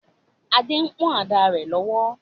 Adé ń pọ̀n ada rẹ̀ lọ́wọ́